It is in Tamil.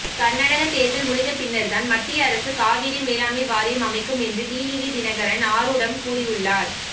கர்நாடக தேர்தல் முடிந்த பின்னர்தான் மத்திய அரசு காவிரி மேலாண்மை வாரியம் அமைக்கும் என்று டிடிவி தினகரன் ஆரூடம் கூறியுள்ளார்